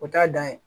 O t'a dan ye